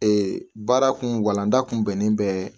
Ee baara kun walanda kun bɛnnen bɛ